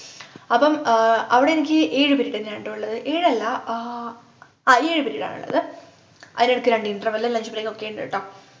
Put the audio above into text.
അപ്പം ആഹ് അവിടെനിക്ക് ഏഴു period എന്നേയാണുട്ടോ ഉള്ളത് ഏഴല്ല ആഹ് ആ ഏഴു period ആണുള്ളത് അതിനിടക്ക് രണ്ട്‌ interval lunch break ഒക്കെയുണ്ട് ട്ടോ